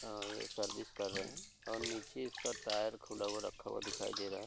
और ये सर्विस कर रहे और नीचे इसका टायर खुला हुआ रखा हुआ दिखाई दे रहा है।